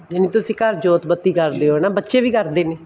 ਜਿਵੇਂ ਤੁਸੀਂ ਘਰ ਜੋਤ ਬੱਤੀ ਕਰਦੇ ਹੋ ਬੱਚੇ ਵੀ ਕਰਦੇ ਨੇ